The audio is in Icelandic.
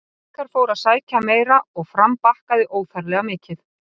Haukar fóru að sækja meira og Fram bakkaði óþarflega mikið.